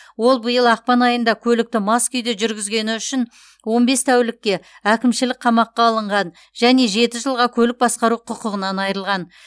ол биыл ақпан айында көлікті мас күйде жүргізгені үшін он бес тәулікке әкімшілік қамаққа алынған және жеті жылға көлік басқару құқығынан айырылған